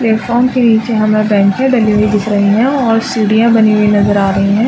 Platform के नीचे हमें बेंचे डली हुई दिख रही है और सीढ़ियाँ बनी हुई नजर आ रही हैं ।